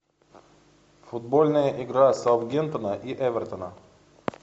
футбольная игра саутгемптона и эвертона